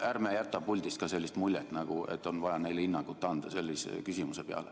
Ärme jätame ka puldist muljet, et neile on vaja hinnangut anda.